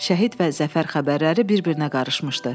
Şəhid və zəfər xəbərləri bir-birinə qarışmışdı.